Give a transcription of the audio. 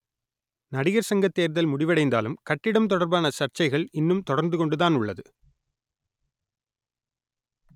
நடிகர் சங்கத்தேர்தல் முடிவடைந்தாலும் கட்டிடம் தொடர்பான் சர்ச்சைகள் இன்னும் தொடர்ந்து கொண்டுதான் உள்ளது